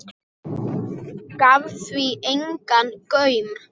Gaf því engan gaum.